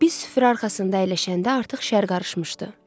Biz süfrə arxasında əyləşəndə artıq şərab qarışmışdı.